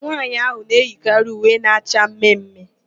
Nwaanyị ahụ na-eyikarị uwe na-acha mme mme.